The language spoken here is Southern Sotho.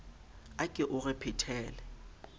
a ke o re phetele